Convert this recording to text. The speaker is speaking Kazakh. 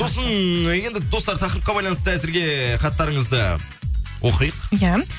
сосын енді достар тақырыпқа байланысты әзірге хаттарыңызды оқиық иә